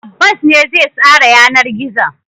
Abbas ne zai tsara yanar gizon.